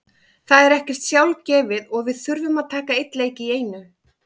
Það er ekkert sjálfgefið og við þurfum að taka einn leik í einu.